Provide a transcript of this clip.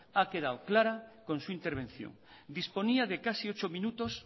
ha quedado clara con su intervención disponía de casi ocho minutos